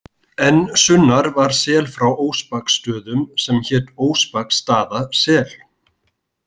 Enn sunnar var sel frá Óspaksstöðum sem hét Óspaksstaðasel.